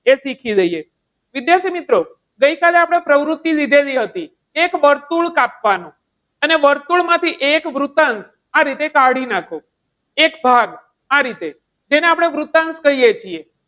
એ શીખી લઈએ. વિદ્યાર્થીમિત્રો, ગઈકાલે આપણે પ્રવૃત્તિ લીધેલી હતી. એક વર્તુળ કાપવાનું અને વર્તુળ માંથી એક વૃતાંશ આ રીતે કાઢી નાખો. એક ભાગ, આ રીતે, જેને આપણે વૃતાંશ કહીએ છીએ.